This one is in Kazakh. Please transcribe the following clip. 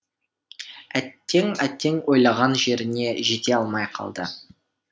әттең әттең ойлаған жеріне жете алмай қалды